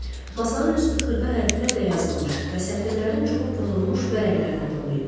Masanın üstü xırda hərflərlə yazılmış və sətirlərin çoxu pozulmuş vərəqlərlə dolu idi.